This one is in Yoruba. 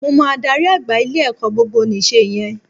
Mo mọ adarí àgbà ilé-ẹ̀kọ́ gbogbonìse yẹn